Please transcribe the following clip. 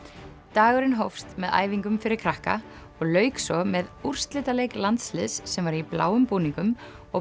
dagurinn hófst með æfingum fyrir krakka og lauk svo með úrslitaleik landsliðs sem var í bláum búningum og